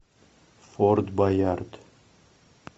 форт боярд